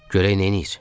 Görək neyniyir?